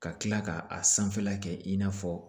Ka kila ka a sanfɛla kɛ i n'a fɔ